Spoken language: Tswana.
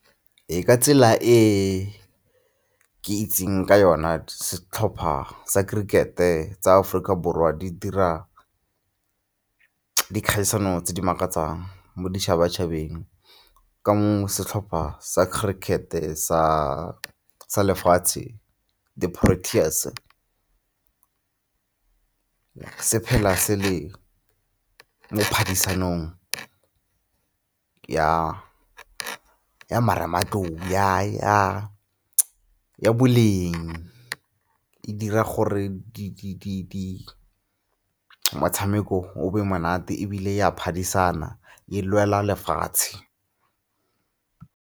Ee, ka tsela e ke itseng ka yona setlhopha sa cricket-e tsa Aforika Borwa di dira dikgaisano tse di makatsang mo ditšhabatšhabeng ke nngwe setlhopha sa cricket-e sa lefatshe di-Proteas-e se phela se le mo phadisanong ya marematlou, ya boleng e dira gore motshameko o be monate ebile e a phadisana e lwela lefatshe.